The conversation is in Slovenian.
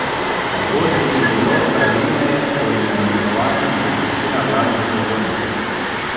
Mogoče bi jih bilo pravilneje poimenovati desetina vladnih razbojnikov.